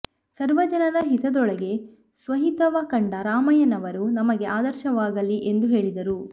ಸರ್ವ ಜನರ ಹಿತದೊಳಗೇ ಸ್ವಹಿತವ ಕಂಡ ರಾಮಯ್ಯನವರು ನಮಗೆ ಆದರ್ಶವಾಗಲಿ ಎಂದು ಹೇಳಿದರು